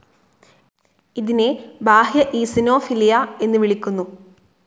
ഇതിനെ ബാഹ്യ ഈസിനോഫിലിയ എന്ന് വിളിക്കുന്നു.